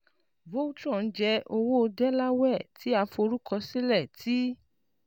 Voltron jẹ owo Delaware ti a forukọsilẹ ti